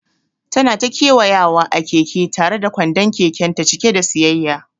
Tana ta kewayawa a keke tare da kwandon kekenta cike da siyayya.